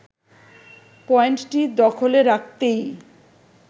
পয়েন্টটি দখলে রাখতেই